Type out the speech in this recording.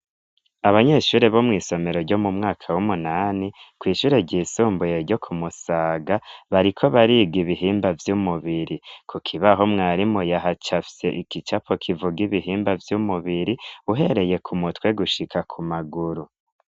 Abanyeshure bo mw' isomero ryo mu mwaka w'umunani kw' ishure ry' isumbuye ryo ku Musaga bariko bariga ibihimba vy'umubiri. Ku kibaho mwarimu yahacafye igicapo kivuga ibihimba vy'umubiri uhereye ku mutwe gushika ku maguru.